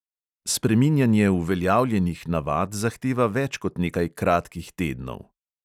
Spreminjanje uveljavljenih navad zahteva več kot nekaj kratkih tednov.